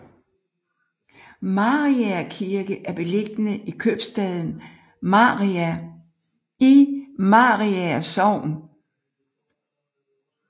Mariager Kirke er beliggende i købstaden Mariager i Mariager Sogn